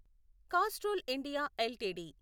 Castrol India LTD